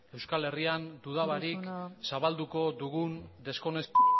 euskal herrian duda barik zabalduko dugun